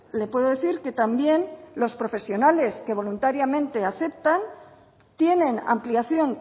le puedo decir que también los profesionales que voluntariamente aceptan tienen ampliación